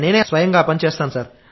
నేనే స్వయంగా ఆ పని చేస్తాను